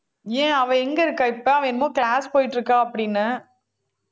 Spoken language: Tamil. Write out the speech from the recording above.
ஏன் அவ எங்க இருக்கா இப்ப அவ என்னமோ class போயிட்டு இருக்கா அப்படின்னே